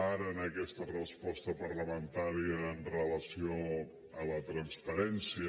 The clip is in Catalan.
ara en aquesta resposta parlamentària amb relació a la transparència